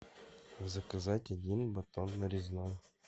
заказать один батон нарезной